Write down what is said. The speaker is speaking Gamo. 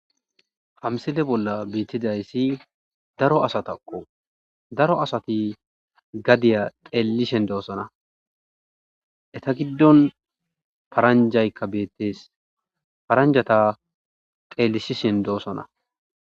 Ha missile bolla betizaysi daro asatako daro asati gadiya xelishe dosona Etta gidon paranjayka bettes.paranjata xelisishin dosona